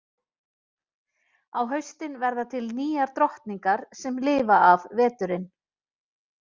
Á haustin verða til nýjar drottningar sem lifa af veturinn.